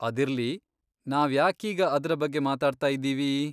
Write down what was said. ಅದಿರ್ಲಿ, ನಾವ್ಯಾಕೀಗ ಅದ್ರ ಬಗ್ಗೆ ಮಾತಾಡ್ತಾ ಇದ್ದೀವಿ?